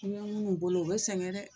I bɛ minnu bolo u bɛ sɛgɛn dɛ !